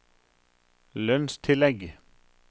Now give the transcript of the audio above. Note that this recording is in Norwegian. lønnstillegg